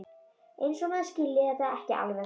Eins og maður skilji þetta ekki alveg!